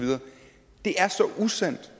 usand